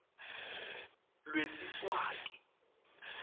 lwesiswati